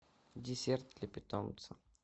десерт для питомца